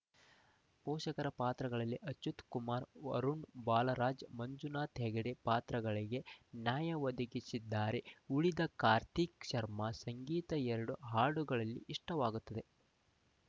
ಪೋಷಕರ ಪಾತ್ರಗಳಲ್ಲಿ ಅಚ್ಯುತ್‌ ಕುಮಾರ್‌ ಅರುಣ ಬಾಲರಾಜ್‌ ಮಂಜುನಾಥ್‌ ಹೆಗಡೆ ಪಾತ್ರಗಳಿಗೆ ನ್ಯಾಯ ಒದಗಿಸಿದ್ದಾರೆ ಉಳಿದಂತೆ ಕಾರ್ತಿಕ್‌ ಶರ್ಮ ಸಂಗೀತ ಎರಡು ಹಾಡುಗಳಲ್ಲಿ ಇಷ್ಟವಾಗುತ್ತದೆ